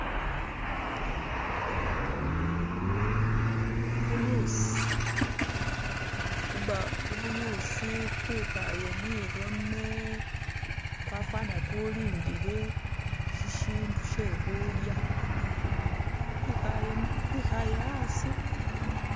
Kubuyuusi kwe khale mwirome kwafwana kulindile shisindu she khulya kwikhale asi.